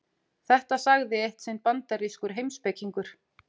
Þetta sagði eitt sinn bandarískur heimspekingur.